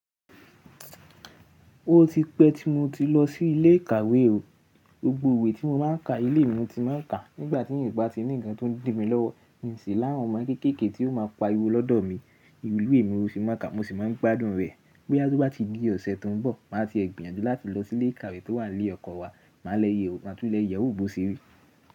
O ti pẹ́ tí mo ti lọ sí ilé ìkàwé o. Gbogbo iwe tí mo má ń ka ilé mi ni mo ti máa ń kàá. Nígbà tí mi bá tí ní nǹkan tó ń dì mi lọ́wọ́, mo ń ṣì láwọn ọmọ kéékèèké tí ó máa pariwo lọ́dọ̀ mi. Ìwé ìwé mi mo sì máa ka, mo sì máa ń gbádùn rẹ̀. Bó yá tó bá ti di ọ̀sẹ̀ tó ń bọ̀, màá ti è gbìyànjú láti lọ sí ilé ìkàwé tó wà ń li ọkọnwa. Màá tún lẹ́ yẹ̀wo bó ṣe rí.